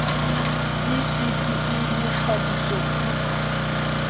b c d e mekgabisopuo